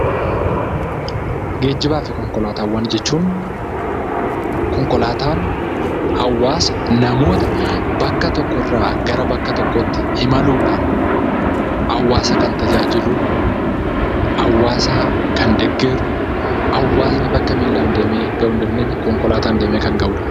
Geejjibaa fi konkolaataawwan jechuun konkolaataan hawwaasa, namoota bakka tokko irraa gara bakka tokkootti imaluudhaan hawwaasa kan tajaajilu, hawwaasa kan deeggaru, hawwaasni bakka miilaan deemee gahuu hin dandeenye kan gahudha.